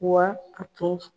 Wa a tun